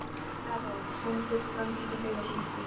Erró sæmdur frönsku heiðursmerki